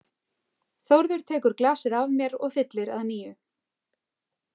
Þórður tekur glasið af mér og fyllir að nýju.